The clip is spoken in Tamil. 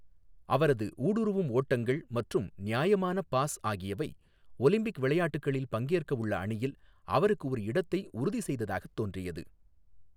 அவரது ஊடுருவும் ஓட்டங்கள் மற்றும் நியாயமான பாஸ் ஆகியவை ஒலிம்பிக் விளையாட்டுகளில் பங்கேற்க உள்ள அணியில் அவருக்கு ஒரு இடத்தை உறுதி செய்ததாகத் தோன்றியது.